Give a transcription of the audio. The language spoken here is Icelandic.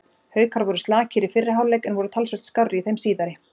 Haukar voru slakir í fyrri hálfleik en voru talsvert skárri í þeim síðari.